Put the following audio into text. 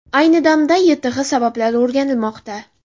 Ayni damda YTH sabablari o‘rganilmoqda.